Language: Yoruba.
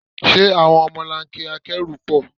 Ṣé àwọn ọmọlanke akẹ́rù pọ̀?